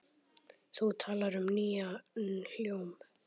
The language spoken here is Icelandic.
Þú talar um nýjan hljóm?